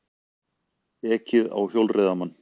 Ekið á hjólreiðamann